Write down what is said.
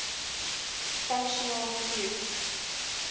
functional groups